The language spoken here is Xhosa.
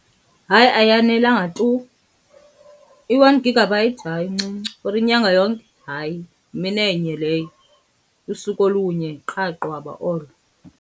Hayi, ayanelanga tu. I-one gigabyte, hayi incinci for inyanga yonke, hayi yimi enye leyo. Lusuku olunye qha qwaba olo.